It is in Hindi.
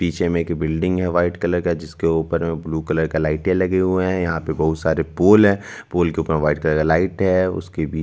पीछे में एक बिल्डिंग है व्हाइट कलर का जिसके ऊपर अ ब्लू कलर का लाइटें लगे हुए है यहाँ पे बहुत सारे पोल है पोल के ऊपर व्हाइट कलर का लाइट है उसकी नि --